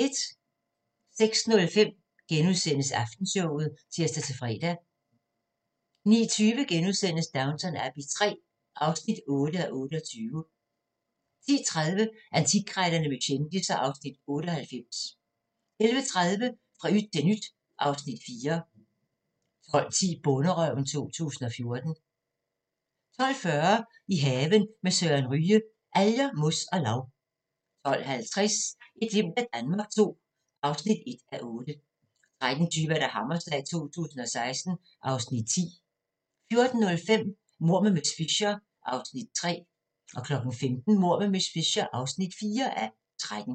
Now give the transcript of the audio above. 06:05: Aftenshowet *(tir-fre) 09:20: Downton Abbey III (8:28)* 10:30: Antikkrejlerne med kendisser (Afs. 98) 11:30: Fra yt til nyt (Afs. 4) 12:10: Bonderøven 2014 12:40: I haven med Søren Ryge: Alger, mos og lav 12:50: Et glimt af Danmark II (1:8) 13:20: Hammerslag 2016 (Afs. 10) 14:05: Mord med miss Fisher (3:13) 15:00: Mord med miss Fisher (4:13)